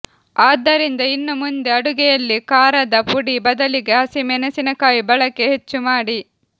ಆದ್ದರಿಂದ ಇನ್ನು ಮುಂದೆ ಅಡುಗೆಯಲ್ಲಿ ಖಾರದ ಪುಡಿ ಬದಲಿಗೆ ಹಸಿ ಮೆಣಸಿನಕಾಯಿ ಬಳಕೆ ಹೆಚ್ಚು ಮಾಡಿ